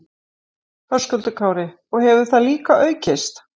Höskuldur Kári: Og hefur það líka aukist?